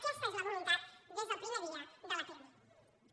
aquesta és la voluntat des del primer dia del pirmi